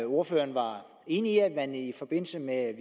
ordføreren er enig i at man i forbindelse med